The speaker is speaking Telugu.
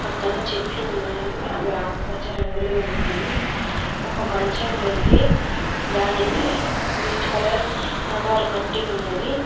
పక్కన చెట్లు ఉన్నాయి అవి ఆకుపచ్చ రంగులో ఉన్నాయి ఒక మంచం ఉంది దానికి గ్రీన్ కలర్ నవారు కట్టి ఉన్నది.